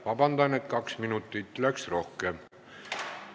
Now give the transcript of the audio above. Vabandust, kaks minutit läks rohkem!